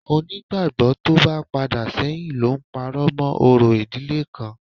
Onígbàgbọ́ tó bá padà sẹ́yìn ló ń parọ́ mọ́ orò ìdílé kan